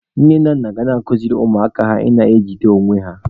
Nne na nna ga na-akụziri ụmụaka ha ị na-ejide onwe ha.